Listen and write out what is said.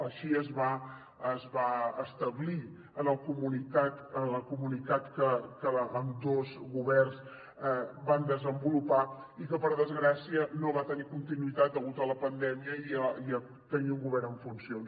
així es va es va establir a la comunitat que ambdós governs van desenvolupar i que per desgràcia no va tenir continuïtat degut a la pandèmia i a tenir un govern en funcions